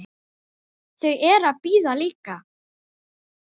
Þau eru að bíða líka.